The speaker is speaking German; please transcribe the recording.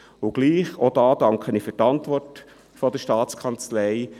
Auch hier bedanke ich mich für die Antwort der Staatskanzlei.